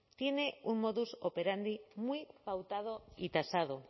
tiene un modus operandi muy pautado y tasado